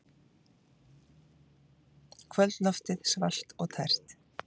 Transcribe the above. Kvöldloftið svalt og tært.